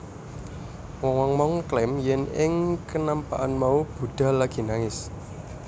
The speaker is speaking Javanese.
Wong wong mau ngeklaim yèn ing kenampakan mau Buddha lagi nangis